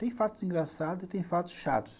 Tem fatos engraçados e tem fatos chatos.